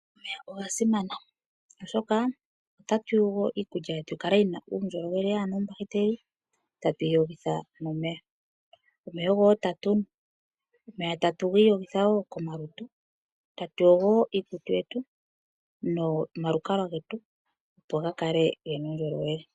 Omeya oga simana, oshoka otatu yogo iikulya yetu yi kale yi na uundjolowele yaa na oombakiteli, tatu yi yogitha nomeya. Omeya ogo wo tatu nu. Omeya tatu gi iyogitha wo komalutu getu, tatu yogo wo iikutu yetu nomalukalwa getu, opo ga kale ge na uundjolowele.